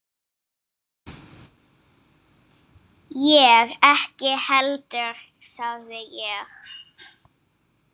Ég ekki heldur sagði ég.